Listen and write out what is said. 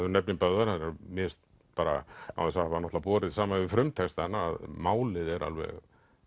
nefnir Böðvar mér finnst bara án þess að hafa borið saman við frumtextann að málið er alveg